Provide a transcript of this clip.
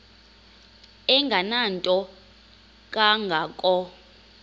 engenanto kanga ko